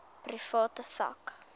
private sak